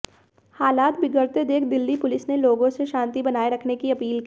हालात बिगड़ते देख दिल्ली पुलिस ने लोगों से शांति बनाए रखने की अपील की